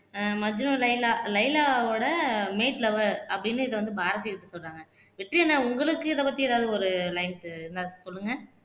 ஆஹ் மஜ்னு லைலா லைலாவோட லவ்வர் அப்படின்னு இதை வந்து பாரதி சொல்றாங்க வெற்றி அண்ணா உங்களுக்கு இதை பத்தி ஏதாவது ஒரு லைன்ஸ் ஏதாச்சு சொல்லுங்க